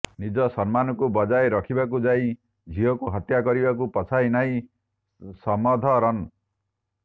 ନିଜ ସମ୍ମାନକୁ ବଜାୟ ରଖିବାକୁ ଯାଇ ଝିଅକୁ ହତ୍ୟା କରିବାକୁ ପଛେଇଲେ ନାହିଁ ସମଧରନ